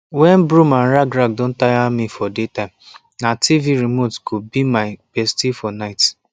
when broom and rag rag don tire me for day time na tv remote go be my bestie for night